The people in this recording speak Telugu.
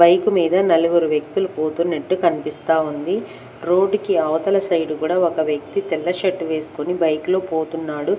బైకు మీద నలుగురు వ్యక్తులు పోతున్నట్టు కనిపిస్తా ఉంది రోడ్డుకి అవతల సైడ్ కూడా ఒక వ్యక్తి తెల్ల షర్టు వేసుకొని బైక్లో పోతున్నాడు.